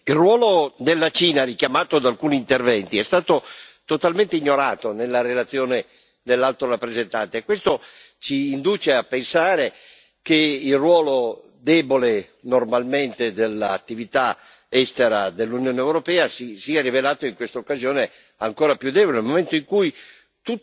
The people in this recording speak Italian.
Signora Presidente, onorevoli colleghi, il ruolo della Cina, richiamato in alcuni interventi, è stato totalmente ignorato nella relazione dell'Alto rappresentante e questo ci induce a pensare che il ruolo debole, normalmente, dell'attività estera dell'Unione europea si sia rivelato in questa occasione ancora più debole, nel momento in cui